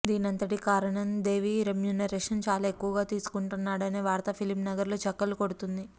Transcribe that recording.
దీనంతటికి కారణం దేవి రెమ్యూనరేషన్ చాలా ఎక్కువగా తీసుకుంటాడనే వార్త ఫిలిం నగర్ లో చక్కర్లు కొడుతుంది